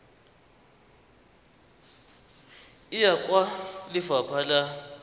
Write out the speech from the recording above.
e ya kwa lefapha la